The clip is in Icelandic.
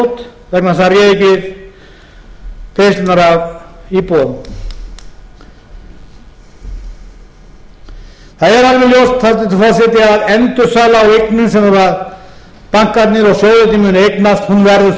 gjaldþrot vegna þess að það réði ekki við greiðslurnar af íbúðunum það er alveg ljóst hæstvirtur forseti að endursala á eignum sem bankarnir og sjóðirnir mun eignast verður